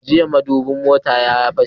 Jiya madubin motata ya fashe